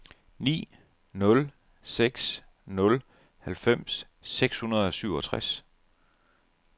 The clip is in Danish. ni nul seks nul halvfems seks hundrede og syvogtres